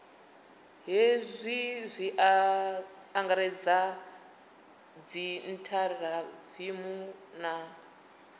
hezwi zwi angaredza dziinthaviwu na